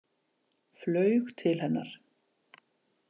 Flaug til hennar.